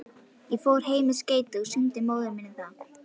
Ég fór heim með skeytið og sýndi móður minni það.